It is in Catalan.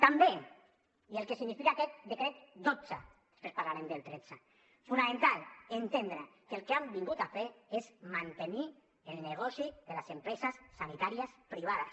també i el que significa aquest decret dotze després parlarem del tretze fonamental entendre que el que han vingut a fer és a mantenir el negoci de les empreses sanitàries privades